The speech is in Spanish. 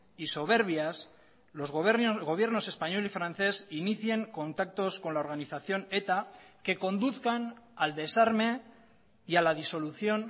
y soberbias los gobiernos español y francés inicien contactos con la organización eta que conduzcan al desarme y a la disolución